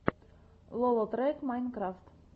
лолотрек майнкрафт